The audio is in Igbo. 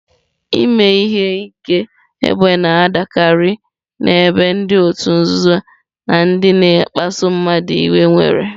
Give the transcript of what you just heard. Ime ihe ike égbè na-adịkarị n'ebe ndị òtù nzuzo na ndị na-akpasu mmadụ iwe nwere.